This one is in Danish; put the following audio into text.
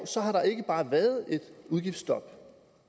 har der ikke bare været et udgiftsstop